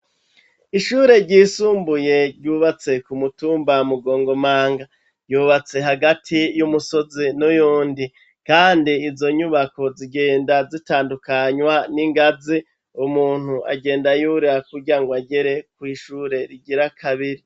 Ishure ryisumbuye ryubatse ku mutumba mugongomanga. Ryubatse hagati y'umusozi n'uyundi, kandi izo nyubako zigenda zitandukanywa n'ingazi umuntu agenda yurira kugirango agere kw' ishure rigira kabiri.